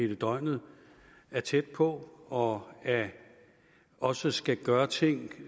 hele døgnet er tæt på og også skal gøre ting